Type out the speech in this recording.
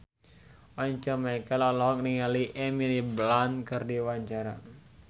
Once Mekel olohok ningali Emily Blunt keur diwawancara